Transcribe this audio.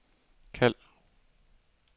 kald